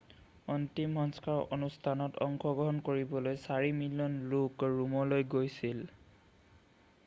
অন্তিম সংস্কাৰৰ অনুষ্ঠানত অংশগ্ৰহণ কৰিবলৈ চাৰি মিলিয়ন লোক ৰোমলৈ গৈছিল